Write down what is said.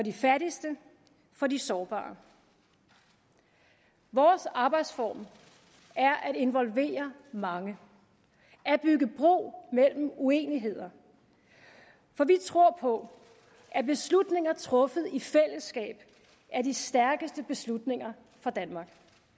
de fattigste for de sårbare vores arbejdsform er at involvere mange at bygge bro mellem uenigheder for vi tror på at beslutninger truffet i fællesskab er de stærkeste beslutninger for danmark